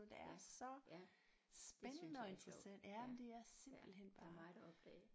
Ja ja det synes jeg er sjovt ja ja der er meget at opdage